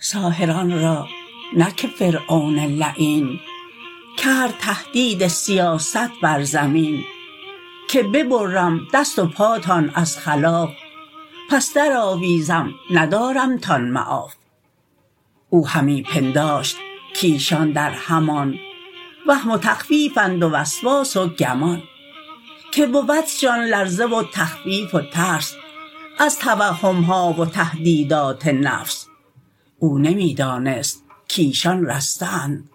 ساحران را نه که فرعون لعین کرد تهدید سیاست بر زمین که ببرم دست و پاتان از خلاف پس در آویزم ندارمتان معاف او همی پنداشت کایشان در همان وهم و تخویفند و وسواس و گمان که بودشان لرزه و تخویف و ترس از توهمها و تهدیدات نفس او نمی دانست کایشان رسته اند